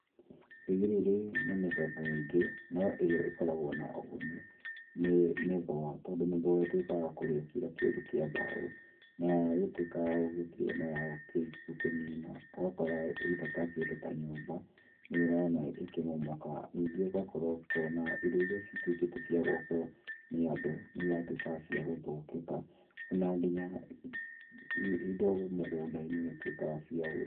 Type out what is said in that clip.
Thigiriri nĩ mĩthemba mĩingĩ no ĩrĩa ĩkoragwo na ũguni nĩ mĩthũa tondũ mĩthũa ĩtuĩkaga ya kũrĩa kira kĩndũ kĩa mbaũ. Na yagĩtuĩka ya kũrĩa na gũkĩnina ũgakora either ta kĩndũ ta nyũmba nĩ ũrona ĩkĩmomoka. Ningĩ ũgakora ũkona indo iria cituĩkĩte cia gwakwo nĩ andũ nĩ iratuĩka ciagũthũkĩka ona nginya indo mũgũnda-inĩ nĩ ituĩkaga cia.